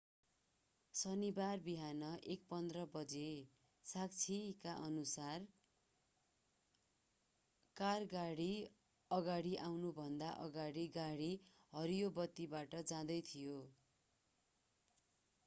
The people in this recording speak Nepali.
शनिबार बिहान 1:15 बजे साक्षीकाअनुसार कार गाडीको अगाडि आउनुभन्दा अगाडि गाडी हरियो बत्तीबाट जाँदै थियो